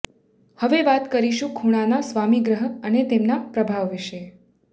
હવે વાત કરીશું ખૂણાના સ્વામી ગ્રહ અને તેમના પ્રભાવ વિશે